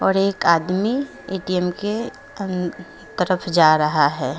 और एक आदमी ए_टी_म के तरफ जा रहा है।